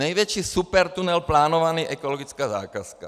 Největší supertunel plánovaný - ekologická zakázka.